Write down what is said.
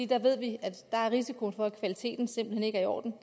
der ved vi at risikoen for at kvaliteten simpelt hen ikke er i orden